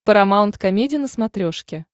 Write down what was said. парамаунт комеди на смотрешке